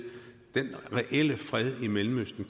den reelle fred i mellemøsten